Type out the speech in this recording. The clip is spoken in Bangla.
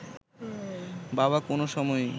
বাবা কোনো সময়েই